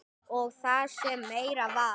Og það sem meira var.